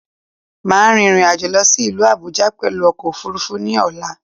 Máà rin ìrìnàjò lọ sí ìlú Àbújá pẹ̀lú ọkò òfurufú ní ọ̀la